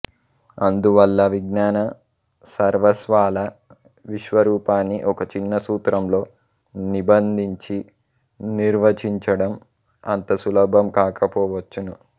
అందువల్ల విజ్ఞాన సర్వస్వాల విశ్వ రూపాన్ని ఒక చిన్న సూత్రంలో నిబంధించి నిర్వచించడం అంత సులభం కాకపోవచ్చును